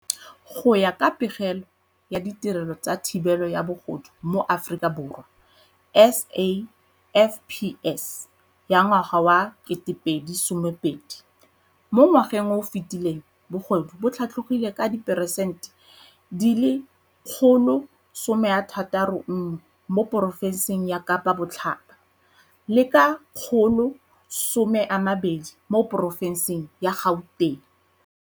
Go ya ka Pegelo ya Ditirelo tsa Thibelo ya Bogodu mo Aforika Borwa, SAFPS, ya ngwaga wa 2020, mo ngwageng o o fetileng bogodu bo tlhatlhogile ka diperesente 161 mo porofenseng ya Kapa Botlhaba le ka 120 mo porofenseng ya Gauteng.